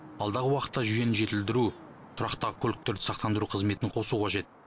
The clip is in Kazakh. алдағы уақытта жүйені жетілдіру тұраққа тұратын көліктерді сақтандыру қызметін қосу қажет